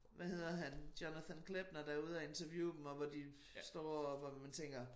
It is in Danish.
Hvad hedder han Jonathan Klepner der er ude og interviewe dem og hvor de står og hvor man tænker